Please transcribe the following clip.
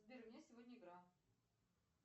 сбер у меня сегодня игра